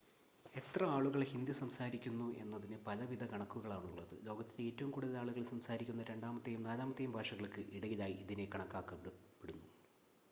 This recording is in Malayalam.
എത്ര ആളുകൾ ഹിന്ദി സംസാരിക്കുന്നു എന്നതിന് പലവിധ കണക്കുകളാണുള്ളത് ലോകത്തിലെ ഏറ്റവും കൂടുതൽ ആളുകൾ സംസാരിക്കുന്ന രണ്ടാമത്തെയും നാലാമത്തെയും ഭാഷകൾക്ക് ഇടയിലായി ഇതിനെ കണക്കാക്കപ്പെടുന്നു